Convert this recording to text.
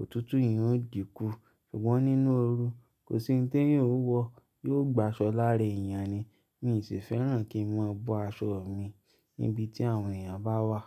òtútù yen ó dìkú. Ṣùgbọ́n nínú ooru, kò sí ohun tí eyan o wọ yóò gba aṣọ lára ẹ̀yàn ni. Mí sì fẹ́ràn kí n máa bọ aṣọ mi níbi tí àwọn èèyàn bá wà.